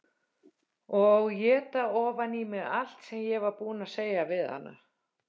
Og éta ofan í mig allt sem ég var búin að segja við hana.